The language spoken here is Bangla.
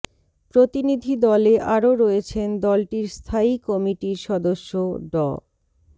প্রতিনিধি দলে আরো রয়েছেন দলটির স্থায়ী কমিটির সদস্য ড